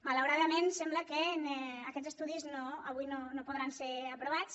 malauradament sembla que aquests estudis avui no podran ser aprovats